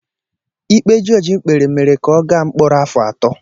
Ikpe jọọjị kpere mere ka ọ gaa mkpọrọ afọ atọ.